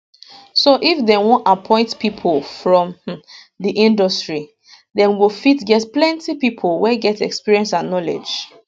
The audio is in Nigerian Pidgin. so if dem want appoint pipo from um di industry dem go fit get plenty pipo wey get experience and knowledge